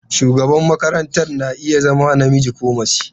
Shugaban makaranta na iya zama namiji ko mace.